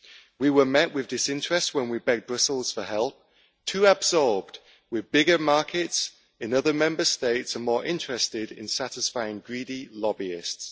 We were met with disinterest when we begged Brussels for help, too absorbed with bigger markets in other Member States and more interested in satisfying greedy lobbyists.